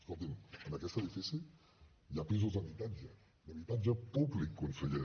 escolti’m en aquest edifici hi ha pisos d’habitatge d’habitatge públic conseller